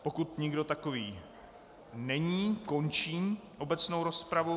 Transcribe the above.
Pokud nikdo takový není, končím obecnou rozpravu.